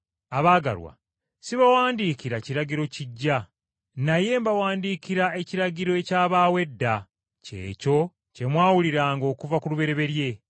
Abaagalwa, sibawandiikira kiragiro kiggya, naye mbawandiikira ekiragiro ekyabaawo edda, kye kyo kye mwawuliranga okuva ku lubereberye.